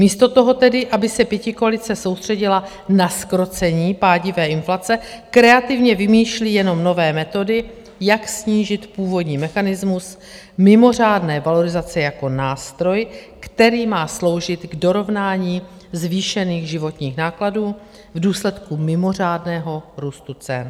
Místo toho tedy, aby se pětikoalice soustředila na zkrocení pádivé inflace, kreativně vymýšlí jenom nové metody, jak snížit původní mechanismus mimořádné valorizace jako nástroj, který má sloužit k dorovnání zvýšených životních nákladů v důsledku mimořádného růstu cen.